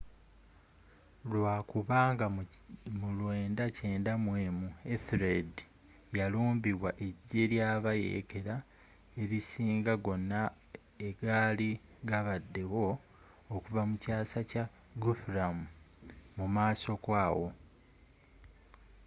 lwakubanga mu 991 ethelred yalumbibwa ejje lyabayeekela elisinga gonna egaali gabaddewo okuva mu kyasa kya guthrum mumaaso ko awo